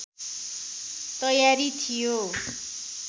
तयारी थियो